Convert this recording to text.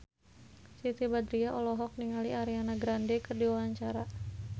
Siti Badriah olohok ningali Ariana Grande keur diwawancara